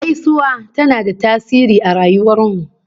Gaisuwa tana da tasiri a rayuwar mu